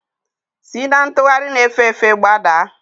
Si na ntugharị na-efe efe gbadaa!